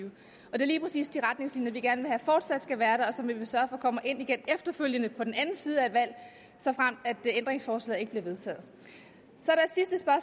er lige præcis de retningslinjer vi gerne vil have fortsat skal være der og som vi vil sørge for kommer ind igen efterfølgende på den anden side af et valg såfremt ændringsforslaget ikke bliver vedtaget